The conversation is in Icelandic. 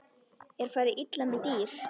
Er farið illa með dýr?